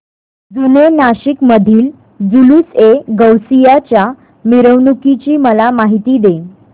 जुने नाशिक मधील जुलूसएगौसिया च्या मिरवणूकीची मला माहिती दे